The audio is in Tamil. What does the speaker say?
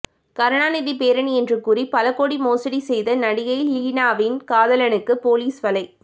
கருணாநிதி பேரன் என்று கூறி பல கோடி மோசடி செய்த நடிகை லீனாவின் காதலனுக்கு போலீஸ் வலை